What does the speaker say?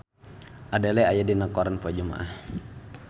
Adele aya dina koran poe Jumaah